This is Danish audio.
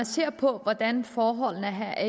ser på hvordan forholdene er